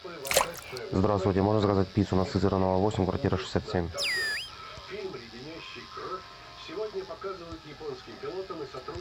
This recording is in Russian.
здравствуйте можно заказать пиццу на сызранова восемь квартира шестьдесят семь